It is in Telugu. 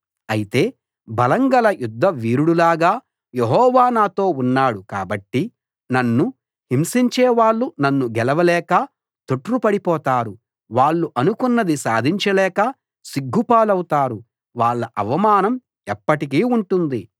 అయితే బలం గల యుద్ధవీరుడులాగా యెహోవా నాతో ఉన్నాడు కాబట్టి నన్ను హింసించేవాళ్ళు నన్ను గెలవలేక తొట్రుపడిపోతారు వాళ్ళు అనుకున్నది సాధించలేక సిగ్గుపాలవుతారు వాళ్ళ అవమానం ఎప్పటికీ ఉంటుంది